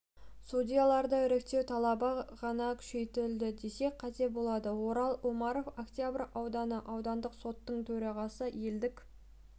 судьяларды іріктеу талабы ғана күшейді десек қате болады орал омаров октябрь ауданы аудандық сотының төрағасы елік